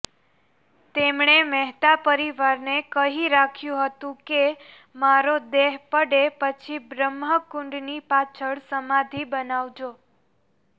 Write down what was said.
તેમણે મહેતા પરિવારને કહી રાખ્યું હતું કે મારો દેહ પડે પછી બ્રહ્મકુંડની પાછળ સમાધિ બનાવજો